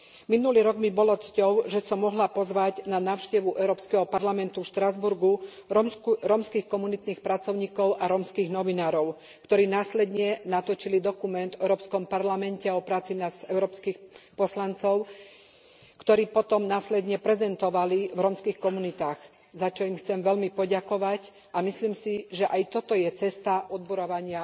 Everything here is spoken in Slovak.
Minulý rok mi bolo cťou, že som mohla pozvať na návštevu Európskeho parlamentu v Štrasburgu rómskych komunitných pracovníkov a rómskych novinárov, ktorí následne natočili dokument o Európskom parlamente a o práci nás, európskych poslancov, ktorý potom prezentovali v rómskych komunitách, za čo im chcem veľmi poďakovať, a myslím si, že aj toto je cesta odbúravania